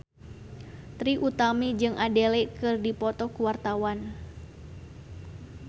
Trie Utami jeung Adele keur dipoto ku wartawan